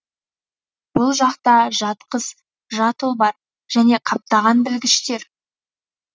бұл жақта жат қыз жат ұл бар және қаптаған білгіштер